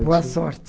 Boa sorte.